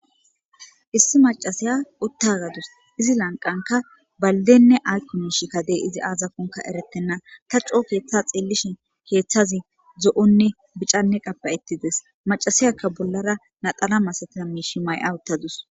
issi macasiya uttagadus izi lanqanka baldenne aykomiish kadey izi aazakonka erettenna ta coo keeththa xeellishin keeththazi zo7onne bicanne qabayettides macasiyakka bollara naxala masatina miishi may7awuttadus